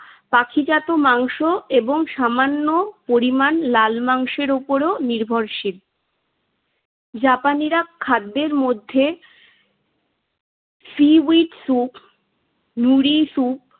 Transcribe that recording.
পাখিজাত মাংস এবং সামান্য পরিমাণ লাল মাংসের ওপরও নির্ভরশীল। জাপানিরা খাদ্যের মধ্যে সীউইড স্যুপ. নুড়ি স্যুপ